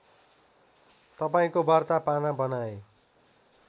तपाईँको वार्ता पाना बनाएँ